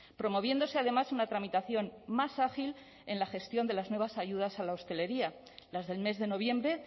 promoviéndose además una tramitación más ágil en la gestión de las nuevas ayudas a la hostelería las del mes de noviembre